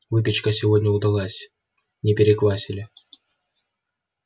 выпечка сегодня удалась не переквасили